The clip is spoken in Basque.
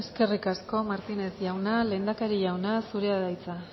eskerrik asko martínez jauna lehendakari jauna zurea da hitza